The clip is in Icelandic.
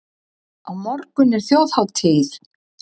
Á morgun er þjóðhátíð.